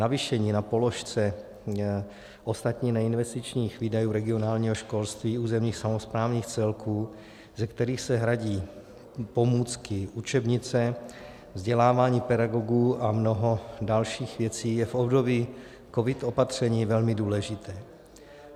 Navýšení na položce ostatních neinvestičních výdajů regionálního školství územních samosprávních celků, ze kterých se hradí pomůcky, učebnice, vzdělávání pedagogů a mnoho dalších věcí, je v období covid opatření velmi důležité.